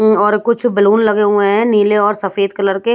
अम्म और कुछ बैलून लगे हुए हैंनीले और सफेद कलर के--